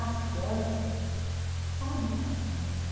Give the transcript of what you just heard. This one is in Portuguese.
As crianças sabem limpar seu nariz.